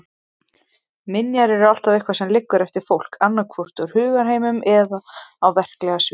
Minjar er alltaf eitthvað sem liggur eftir fólk, annaðhvort úr hugarheiminum eða á verklega sviðinu.